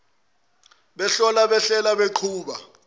behlola behlela beqhuba